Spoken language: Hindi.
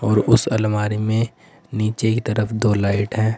और उस अलमारी में नीचे की तरफ दो लाइट है।